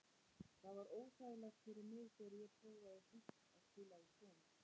Það var óþægilegt fyrir mig þegar ég prófaði fyrsta að spila í skóm.